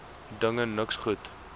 dinge niks goed